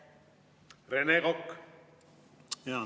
Rene Kokk, palun!